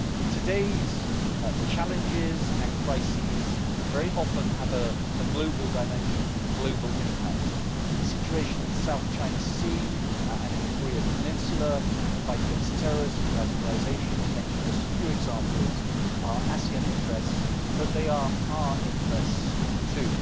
Today's challenges and crises very often have a global dimension, a global impact. The situation in the South China Sea and in the Korean peninsula, the fight against terrorism, radicalisation to mention just a few examples are ASEAN interests, but they are our interests too.